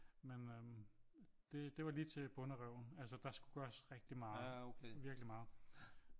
Men øh det var lige til bonderøven altså der skulle gøres rigtig meget virkelig meget